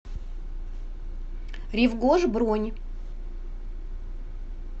рив гош бронь